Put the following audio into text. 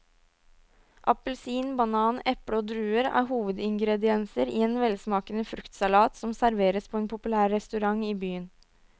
Appelsin, banan, eple og druer er hovedingredienser i en velsmakende fruktsalat som serveres på en populær restaurant i byen.